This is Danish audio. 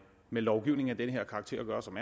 med lovgivning af den her karakter at gøre som